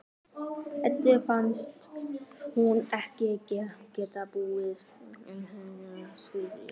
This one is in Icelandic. Eddu finnst hún ekki geta búið ein yfir þessari vitneskju.